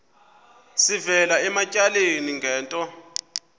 sivela ematyaleni ngento